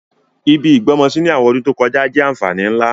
Ibi ìgbọ́mọsí ni àwọn ọdún to kojá jẹ́ ànfàní nlá.